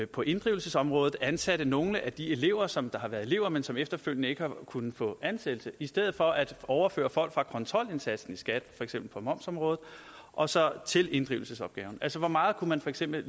på inddrivelsesområdet ansatte nogle af de elever som har været elever men som efterfølgende ikke har kunnet få ansættelse i stedet for at overføre folk fra kontrolindsatsen i skat for eksempel på momsområdet og så til inddrivelsesopgaven altså hvor meget man for eksempel